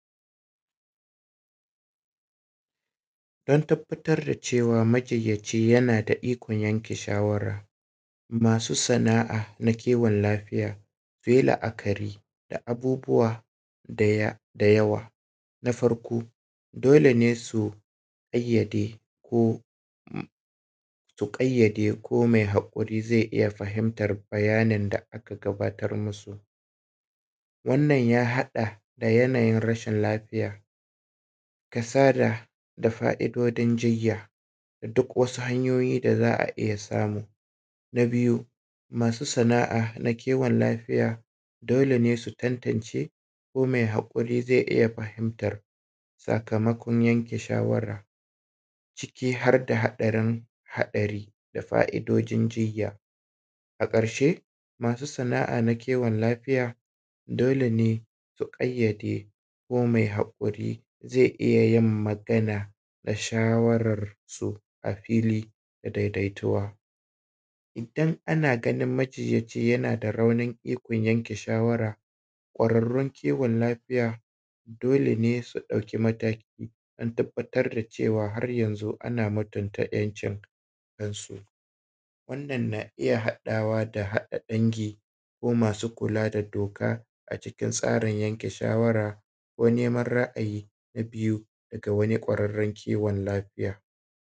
An tabbatar da cewa majinyaci yana da ikon yanke shawara masu sana'a na kiwon lafiya su yi la'akari da abubuwa da yawa. Na Farko dole ne su ƙayyade ko mai hakuri zai iya gabatar musu. Wannan ya haɗa da yanayin rashin lafiya kasada da wasu fa'idojin jinya da wasu hanyoyin da za a iya samu. Na biyu masu sana'a na kiwon lafiya dole ne su tantance ko mai hakuri zai iya fahimtar sakamakon yanke shawara ciki har da haɗarin haɗari. A karshe masu sana'a na kiwon lafiya dole ne su ƙayyade ko mai haƙuri zai iya yin magana da shawararsu a fili da daidaituwa. Ana ganin majinyaci da raunin yanke shawarar ƙwarrarru kiwon lafiya dole ne su ɗauki mataki don tabbatar da cewa ana mutumta 'yancin nasu. Wannan na iya haɗawa da haɗa dangi ko masu kula da doka a cikin tsarin yanke shawara ko neman ra'ayi ga wurin ƙwararren kiwon lafiya.